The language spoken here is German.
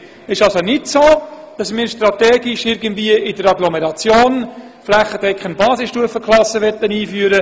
Es ist somit nicht so, dass wir die Strategie verfolgen, in der Agglomeration flächendeckend Basisstufenklassen einzuführen.